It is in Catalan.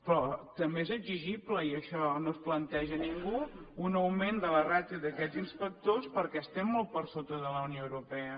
però també és exigible i això no ho planteja ningú un augment de la ràtio d’aquests inspectors perquè estem molt per sota de la unió europea